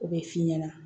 O bɛ f'i ɲɛna